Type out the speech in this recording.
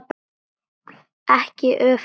Ekki öfugt.